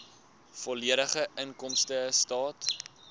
volledige inkomstestaat